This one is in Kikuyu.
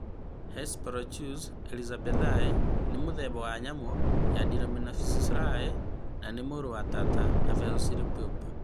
Hesperonychus elizabethae nĩ mũthemba wa nyamũ ya Dromaeosauridae na nĩ mũrũ wa tata na Velociraptor .